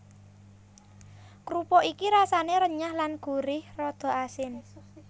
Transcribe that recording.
Krupuk iki rasane renyah lan gurih rada asin